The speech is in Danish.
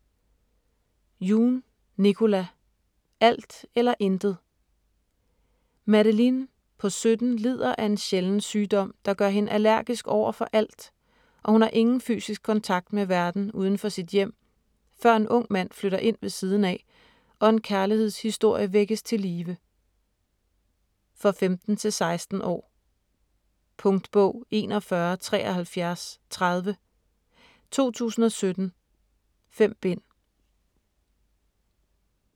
Yoon, Nicola: Alt eller intet Madeline på 17 lider af en sjælden sygdom, der gør hende allergisk over for alt, og hun har ingen fysisk kontakt med verdenen uden for sit hjem, før en ung mand flytter ind ved siden af, og en kærlighedshistorie vækkes til live. For 15-16 år. Punktbog 417330 2017. 5 bind.